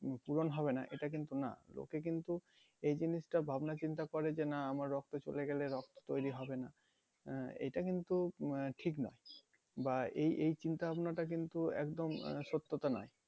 পূরণ হবে না এটা কিন্তু না লোকে কিন্তু এই জিনিসটা ভাবনা চিন্তা করে যে না আমার রক্ত চলে গেলে রক্ত তৈরি হবে না আহ এটা কিন্তু উম আহ ঠিক নয় বা এই এই চিন্তা ভাবনাটা কিন্তু একদম আহ সত্যতা নয়